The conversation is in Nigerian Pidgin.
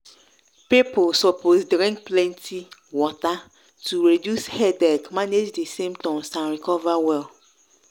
people suppose drink plenty water to reduce headache manage di symptoms and recover well.